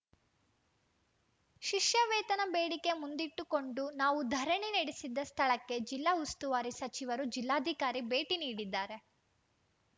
ಶಿಷ್ಯ ವೇತನ ಬೇಡಿಕೆ ಮುಂದಿಟ್ಟುಕೊಂಡು ನಾವು ಧರಣಿ ನಡೆಸಿದ್ದ ಸ್ಥಳಕ್ಕೆ ಜಿಲ್ಲಾ ಉಸ್ತುವಾರಿ ಸಚಿವರು ಜಿಲ್ಲಾಧಿಕಾರಿ ಭೇಟಿ ನೀಡಿದ್ದಾರೆ